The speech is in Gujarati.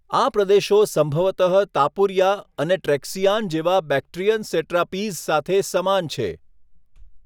આ પ્રદેશો સંભવતઃ તાપુરિયા અને ટ્રેક્સિઆન જેવા બેક્ટ્રીયન સેટ્રાપીઝ સાથે સમાન છે.